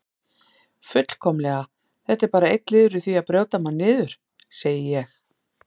Fullkomlega, þetta er bara einn liður í því að brjóta mann niður, segi ég.